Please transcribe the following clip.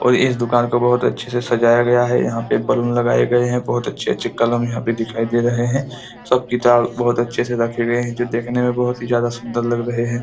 और इस दुकान को बहोत अच्छे से सजाया गया है यहाँ पे बैलून लगाये गए है बहोत अच्छे-अच्छे कलम यहाँ पे दिखाई दे रहे है सब किताब बहोत अच्छे से रखे गए है जो देखने में बहोत ही ज्यादा सुंदर लग रहे है।